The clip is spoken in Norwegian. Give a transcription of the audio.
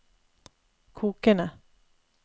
kokende